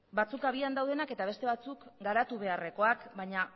batzuk abian daudenak eta beste batzuk garatu beharrekoak baina